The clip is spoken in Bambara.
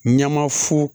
Ɲama fu